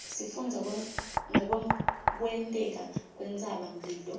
sifundza ngekwenteka kwentsabamlilo